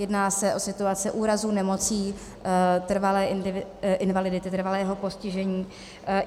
Jedná se o situace úrazu, nemocí, trvalé invalidity, trvalého postižení.